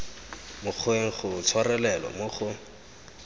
mokgweng go tshwarelelwa mo go